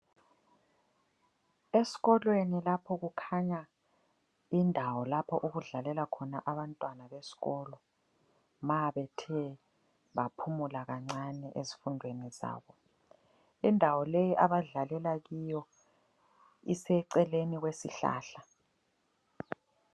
Esikolweni lapho kukhanya indawo lapho okudlalela khona abantwana besikolo ma bethe baphumula kancane ezifundweni zabo. Indawo leyi abadlalela kiyo iseceleni kwesihlahla.